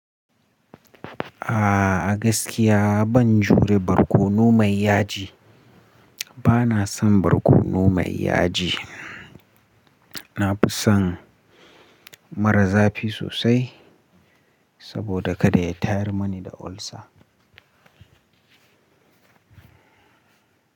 A'a, gaskiya ban jure barkono mai yaji. Bana son barkono mai yaji. Na fi son mara zafi sosai saboda kada ya tayar mani da ulcer.